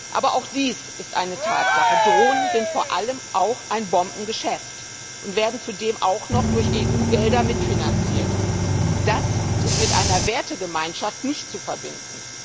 Aber auch dies ist eine Tatsache Drohnen sind vor allem auch ein Bombengeschäft und werden zudem auch noch durch EU Gelder mitfinanziert. Das ist mit einer Wertegemeinschaft nicht zu verbinden.